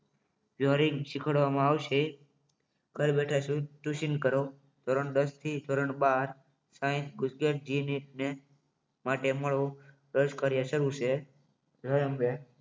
joining શીખવાડવામાં આવશે ઘર બેઠા કુશીન કરો ધોરણ દસ થી ધોરણ બાર સાયન્સ ગુજકેટ જી નીટ માટે મળો દસ કર્યા શરૂ છે